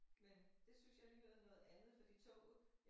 Men det synes jeg alligevel er noget andet fordi toget